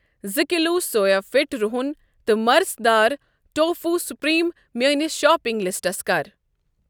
زٕ کِلوٗ سوےفِٹ رُہن تہٕ مرژٕ دار ٹوفوٗ سُپریٖم میٲنِس شاپنگ لسٹَس کَر۔